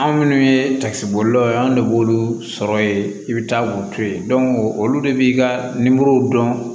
Anw minnu ye bolilaw ye anw de b'olu sɔrɔ yen i bɛ taa k'u to ye olu de b'i ka dɔn